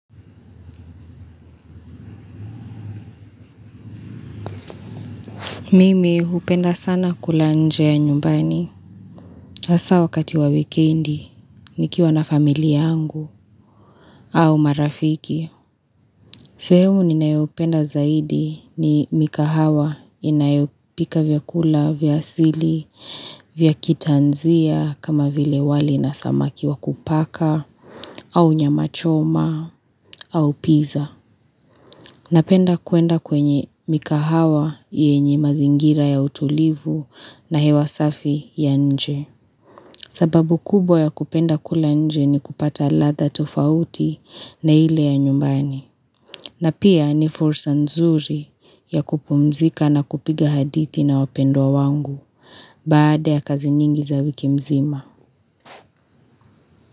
Mimi hupenda sana kula nje ya nyumbani. Hasa wakati wa wikendi, nikiwa na familia yangu au marafiki. Sehumu ninayopenda zaidi ni mikahawa inayopika vyakula, vya asili, vya kitanzia kama vile wali na samaki wa kupaka au nyama choma au piza. Napenda kwenda kwenye mikahawa yenye mazingira ya utulivu na hewa safi ya nje. Sababu kubwa ya kupenda kula nje ni kupata ladha tofauti na ile ya nyumbani. Na pia ni fursa nzuri ya kupumzika na kupiga hadithi na wapendwa wangu baada ya kazi nyingi za wiki nzima.